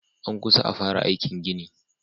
An kusa a fara aikin gini.